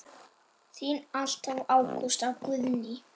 Þín alltaf Ágústa Guðný.